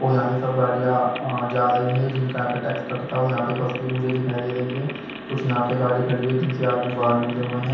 और यहां से सब गाड़ियां जा रही है जिनका यहां पे टैक्स कट था और यहां पे बस भी मुझे दिखाई दे रही है कुछ यहां पे गाड़ी खड़ी हुई है जिनसे आदमी बाहर निकले हुए हैं।